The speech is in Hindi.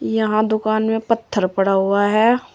यहां दुकान में पत्थर पड़ा हुआ हैं।